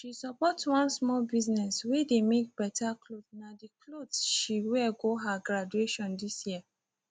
she support one small business whey dey make better clothesna the clothes she wear go her graduation this year